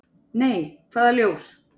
"""Nei, hvaða ljós?"""